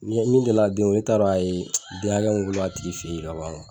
Ni min delila den wolo ne t'a dɔn a ye den hakɛ min wolo a tigi fɛ yen ka ban